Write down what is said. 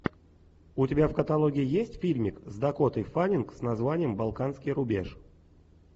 у тебя в каталоге есть фильмик с дакотой фаннинг с названием балканский рубеж